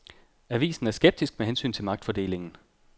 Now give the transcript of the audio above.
Avisen er skeptisk med hensyn til magtfordelingen.